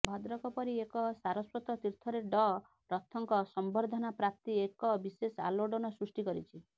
ଭଦ୍ରକ ପରି ଏକ ସାରସ୍ୱତ ତୀର୍ଥରେ ଡ଼ ରଥଙ୍କ ସମ୍ବର୍ଦ୍ଧନାପ୍ରାପ୍ତି ଏକ ବିଶେଷ ଆଲୋଡ଼ନ ସୃଷ୍ଟି କରିଛି